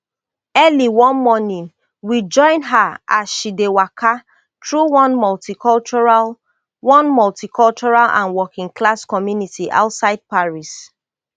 early one morning we join her as she dey waka through one multicultural one multicultural and workingclass community outside paris